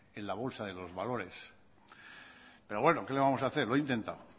en la bolsa de valores pero bueno que le vamos a hacer lo he intentado